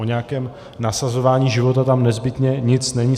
O nějakém nasazování života tam nezbytně nic není.